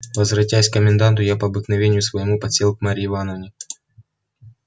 возвратясь к коменданту я по обыкновению своему подсел к марье ивановне